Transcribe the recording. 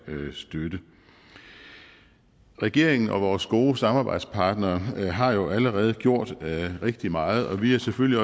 støtte regeringen og vores gode samarbejdspartnere har jo allerede gjort rigtig meget og vi er selvfølgelig